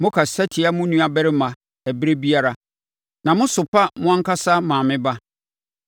Mokasa tia mo nuabarima ɛberɛ biara na mosopa mo ankasa maame ba.